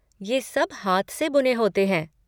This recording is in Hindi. ये सब हाथ से बुने होते हैं।